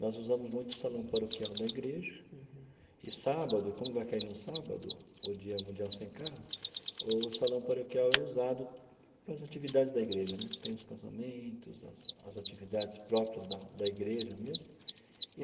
Nós usamos muito o salão paroquial da igreja, e sábado, como vai cair num sábado, o Dia Mundial Sem Carro, o salão paroquial é usado para as atividades da igreja né, tem os casamentos, as as atividades próprias da da igreja mesmo.